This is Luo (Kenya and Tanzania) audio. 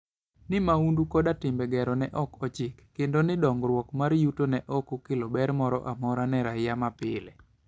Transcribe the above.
Ni mahundu koda timbe gero ne ok ochik, kendo ni dongruok mar yuto ne ok okelo ber moro amora ne raia mapile.